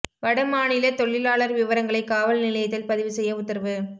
வட மாநிலத் தொழிலாளா் விவரங்களை காவல் நிலையத்தில் பதிவு செய்ய உத்தரவு